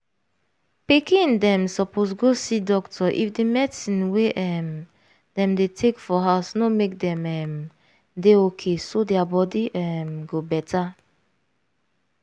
pikin dem suppose go see doctor if the medicine wey um dem dey take for house no make dem um dey okayso dia body um go better